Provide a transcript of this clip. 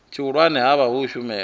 tshihulwane ha vha u shumela